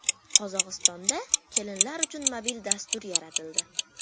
Qozog‘istonda kelinlar uchun mobil dastur yaratildi.